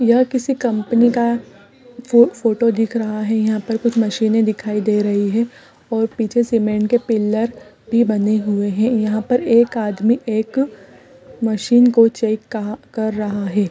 यह किसी कंपनी का फो फोटो दिख रहा हैं यहाँ पर कुछ मशीने दिखाई दे रही हैं और पीछे सीमेंट के पिलर भी बने हुए हैं यहाँ पर एक आदमी एक मशीन को चेक कर रहा हैं।